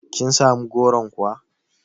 Kin samu goron kuwa?